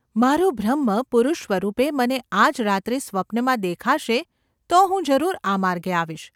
મારો બ્રહ્મ પુરુષસ્વરૂપે મને આજ રાત્રે સ્વપ્નમાં દેખાશે તો હું જરૂર આ માર્ગે આવીશ.